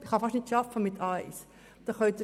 Mit dem Niveau A1 kann man fast nicht arbeiten.